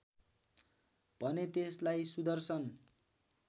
भने त्यसलाई सुदर्शन